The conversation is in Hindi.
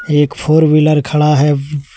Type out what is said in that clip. एक फोर व्हीलर खड़ा है।